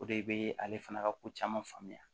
O de bɛ ale fana ka ko caman faamuya